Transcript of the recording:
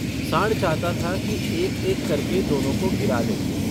साँड़ चाहता था कि एक एक करके दोनों को गिरा लें।